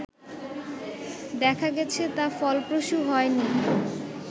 দেখা গেছে তা ফলপ্রসূ হয়নি